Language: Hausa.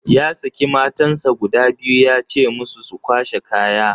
Ya saki matansa guda biyu ya ce musu su kwashe kaya.